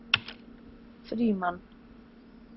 Frímann